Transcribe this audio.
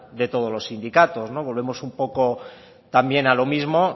de todos los sindicatos volvemos un poco también a lo mismo